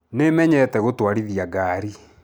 Nĩmenyete gũtwarithia ngari.